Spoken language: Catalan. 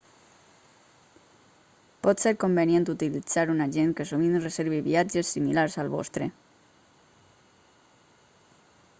pot ser convenient utilitzar un agent que sovint reservi viatges similars al vostre